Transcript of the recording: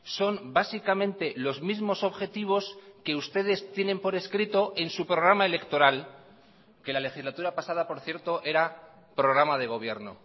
son básicamente los mismos objetivos que ustedes tienen por escrito en su programa electoral que la legislatura pasada por cierto era programa de gobierno